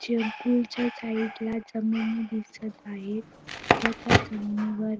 swimming pool च्या side ला जमिनी दिसत आहेत व त्या जमिनीवर --